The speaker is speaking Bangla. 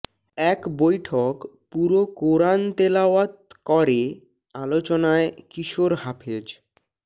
এক বৈঠক পুরো কোরআন তেলাওয়াত করে আলোচনায় কিশোর হাফেজ